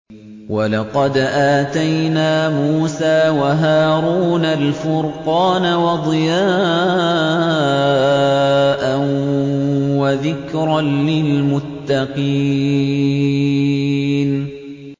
وَلَقَدْ آتَيْنَا مُوسَىٰ وَهَارُونَ الْفُرْقَانَ وَضِيَاءً وَذِكْرًا لِّلْمُتَّقِينَ